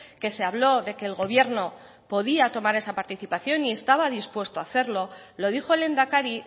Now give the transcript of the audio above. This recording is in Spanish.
que se habló de que el gobierno podía tomar esa participación y estaba dispuesto a hacerlo lo dijo el lehendakari